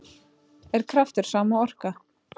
Er kraftur sama og orka?